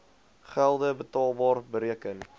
gelde betaalbar bereken